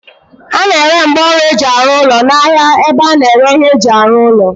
A na-ere ngwaọrụ eji arụ ụlọ n'ahia ebe a na-ere ihe eji arụ ụlọ